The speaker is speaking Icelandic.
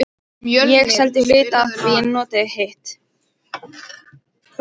Ég seldi hluta af því en notaði hitt.